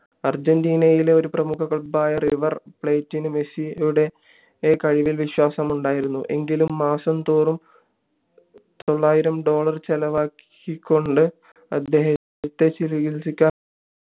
അർജന്റീനയിലെ ഒരു പ്രമുഖ club ആയ റിവർ പ്ലേറ്റിന് മെസ്സിയുടെ കഴിവിൽ വിശ്വാസമുണ്ടായിരുന്നു എങ്കിലും മാസം തോറും തൊള്ളായിരം dollar ചെലവാക്കികൊണ്ട് അദ്ദേഹത്തെ ചികിൽസിക്കാൻ